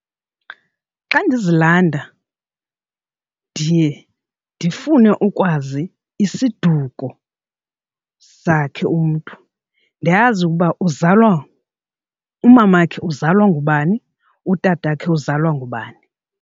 Xa ndizilanda ndiye ndifune ukwazi isiduko sakhe umntu, ndiyazi ukuba uzalwa, umamakhe uzalwa ngubani utatakhe uzalwa ngubani.